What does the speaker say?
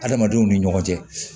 Adamadenw ni ɲɔgɔn cɛ